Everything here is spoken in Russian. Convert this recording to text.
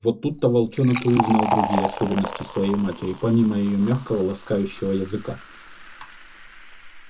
вот тут-то волчонок и узнал другие особенности своей матери помимо её мягкого ласкающего языка